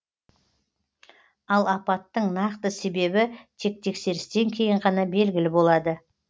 ал апаттың нақты себебі тек тексерістен кейін ғана белгілі болады